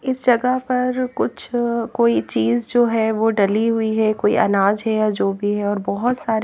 इस जगह पर कुछ कोई चीज जो है वो डली हुई है कोई अनाज है या जो भी है और बहोत सारी--